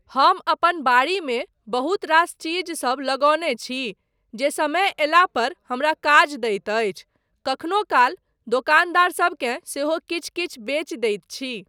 हम अपन बाड़ीमे बहुत रास चीजसब लगौने छी जे समय अयला पर हमरा काज दैत अछि, कखनो काल दोकानदारसबकेँ सेहो किछु किछु बेचि दैत छी।